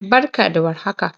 Barka da war har haka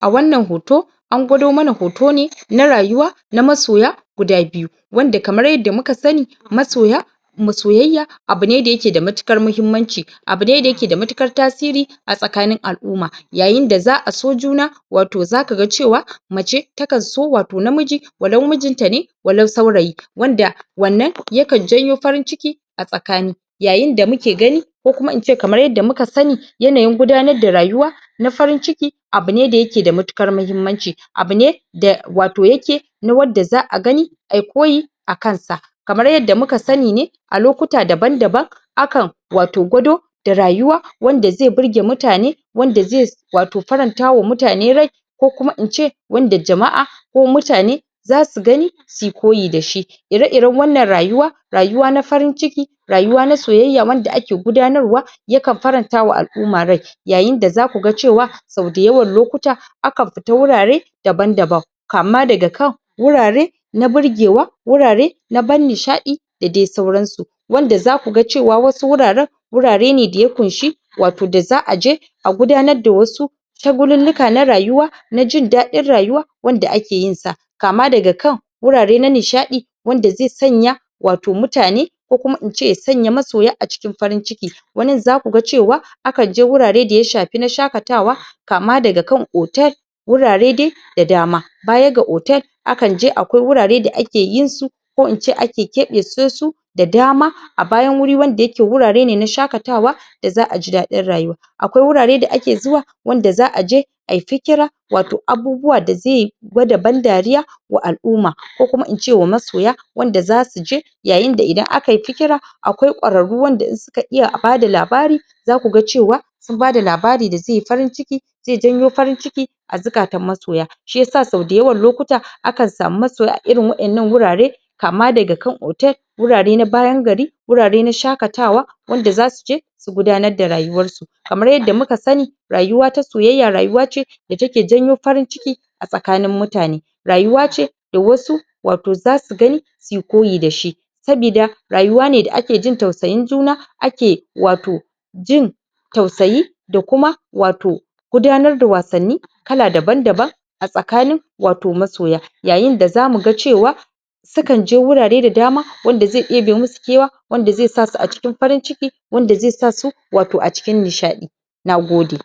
a wannan hoto an gwado mana hoto ne na rayuwa na masoya guda biyu wanda kamar yadda muka sani masoya kuma soyayya abu ne da yake da matuƙar muhimmanci abu ne da yake da matuƙar tasiri a tsakanin al'umma yayin da za a so juna wato zaka ga cewa mace ta kan so wato namiji walau mijinta ne walau saurayi wanda wannan ya kan janyo farin-ciki a tsakani yayin da muke gani ko kuma ince kamar yadda muka sani yanayin gudanar da rayuwa na farin-ciki abu ne da yake da matuƙar muhimmanci abu ne da wato yake na wadda za a gani a yi koyi a kan sa kamar yadda muka sani ne a lokuta daban-daban a kan wato gwado da rayuwa wanda zai burge mutane wanda ze wato farantawa mutane rai ko kuma in ce wanda jama'a ko mutane za su gani su yi koyi da shi ire-iren wannan rayuwa rayuwa na farin-ciki rayuwa na soyayya wanda ake gudanarwa ya kan farantawa al'umma rai yayin da za ku ga cewa sau dayawan lokuta akan fita wurare daban-daban kama daga kan wurare na birgewa wurare na ban nishaɗi da dai sauransu wanda za ku cewa wasu wuraren wurare ne da ya ƙunshi wato da za a je a gudanar da wasu shagululluka na rayuwa na jin daɗin rayuwa wanda ake yin sa kama daga kan wurare na nishaɗi wanda zai sanya wato mutane ko kuma in ce ya sanya masoya a cikin farin-ciki wanin za ku ga cewa a kan je wurare da ya shafi na shakatawa kama daga kan otel gurare dai da dama baya ga otel akan je akwai wurare da ake yin su ko in ce ake keɓece su da dama a bayan wuri wanda yake wurare ne na shakatawa da za a ji daɗi rayuwa akwai wurare da ake zuwa wanda za a je ai fikira wato abubuwa da ze gwada ban-dariya wa al'uma ko kuma in ce wa masoya wanda za su je yayin da idan aka yi fikira akwai ƙwararru wanda in suka iya a bada labari za ku ga cewa sun bada labari da zai yi farin-ciki zai janyo farin-ciki a zukatan masoya shi yasa sau dayawan lokuta akan samu maasoya a irin waƴannan wurare kama daga kan otel wurare na bayan gari wurare na shakatawa wanda za su je su gudanar da rayuwarsu kamar yadda muka sani rayuwa ta soyayya rayuwa ce da take janyo farin-ciki a tsakanin mutane rayuwa ce da wasu wato za su gani su yi koyi da shi sabida rayuwa ne da ake jin tausayin juna ake wato jin tausayi da kuma wato gudanar da wasanni kala daban-daban a tsakanin wato masoya yayin da za mu ga cewa ta kan je wurare da dama wanda ze ebe musu kewa wanda ze sa su a cikin wanda ze sa su wato a cikin nishaɗi na gode